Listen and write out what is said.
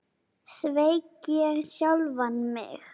Sveik ég sjálfan mig?